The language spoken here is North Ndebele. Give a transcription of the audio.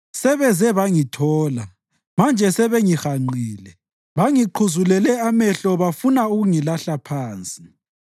Sebeze bangithola, manje sebengihanqile bangiqhuzulele amehlo bafuna ukungilahla phansi.